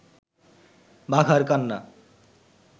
বাঘার কান্না